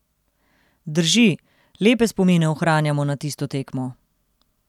Drži, lepe spomine ohranjamo na tisto tekmo.